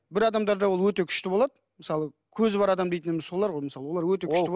бір адамдарда ол өте күшті болады мысалы көзі бар адам дейтініміз солар ғой мысалы олар өте күшті